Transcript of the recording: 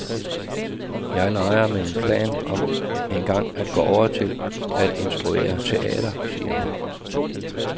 Jeg leger med en plan om engang at gå over til at instruere teater, siger hun.